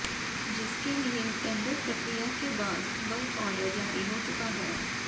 जिसके लिए टेंडर प्रक्रिया के बाद वर्क आर्डर जारी हो चुका है